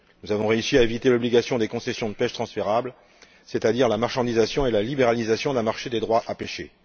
Nous avons réussi à éviter l'obligation des concessions de pêche transférables, c'est à dire la marchandisation et la libéralisation d'un marché des droits à pêcher.